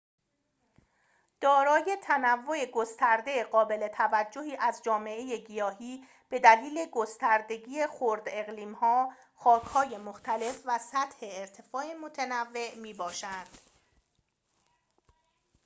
دارای تنوع گسترده قابل توجهی از جامعه گیاهی بدلیل گستردگی خرداقلیم‌ها خاک‌های مختلف و سطح ارتفاع متنوع می‌باشد